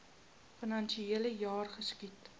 finansiele jaar geskied